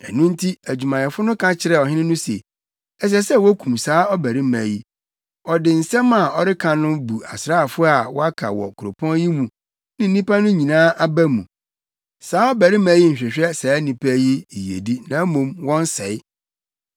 Ɛno nti adwumayɛfo no ka kyerɛɛ ɔhene no se, “Ɛsɛ sɛ wokum saa ɔbarima yi. Ɔde nsɛm a ɔreka no bu asraafo a wɔaka wɔ kuropɔn yi mu ne nnipa no nyinaa aba mu. Saa ɔbarima yi nhwehwɛ saa nnipa yi yiyedi na mmom wɔn sɛe.”